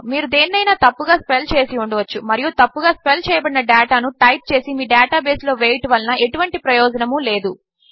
మీరుదేనినైనాతప్పుగాస్పెల్చేసిఉండవచ్చుమరియుతప్పుగాస్పెల్చేయబడినడేటానుటైప్చేసిమీడేటాబేస్లోవేయుటవలనఎటువంటిప్రయోజనములేదు